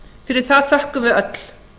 fyrir það þökkum við öll